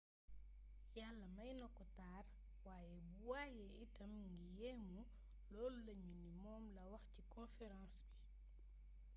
yàlla mayna ko taar waaye bu wayee itam nga yéemu loolu lañu ni moom la wax ci conference ba